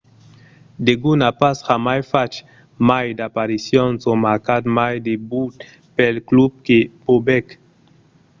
degun a pas jamai fach mai d'aparicions o marcat mai de but pel club que bobek